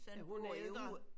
Er hun ældre?